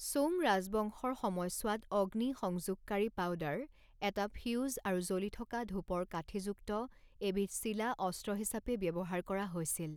Song ৰাজবংশৰ সময়ছোৱাত অগ্নিসংযোগকাৰী পাউদাৰ, এটা ফিউজ, আৰু জ্বলি থকা ধূপৰ কাঠিযুক্ত এবিধ চিলা অস্ত্ৰ হিচাপে ব্যৱহাৰ কৰা হৈছিল।